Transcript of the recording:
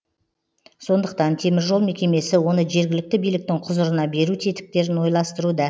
сондықтан теміржол мекемесі оны жергілікті биліктің құзырына беру тетіктерін ойластыруда